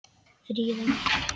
Fríða mín.